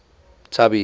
tubby